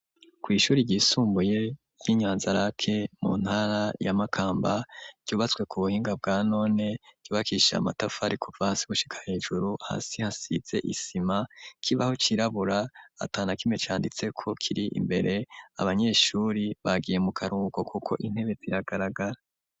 Kw'ishuri ryisumbuye y'i Nyanza-lac mu ntara ya Makamba ryubatswe ku buhinga bwa none, ryubakishije amatafari kuva hasi gushika hejuru hasi hasize isima, ikibaho cirabura ata na kimwe canditseko kiri imbere abanyeshure bagiye mu karuhuko kuko intebe ziragaragara.